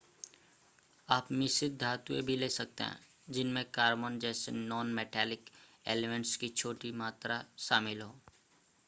आप मिश्रित धातुएं भी ले सकते हैं जिनमें कार्बन जैसे नॉन-मैटेलिक एलिमेंट्स की छोटी मात्रा शामिल हो